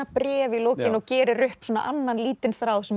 bréf í lokin og gerir upp annan lítinn þráð sem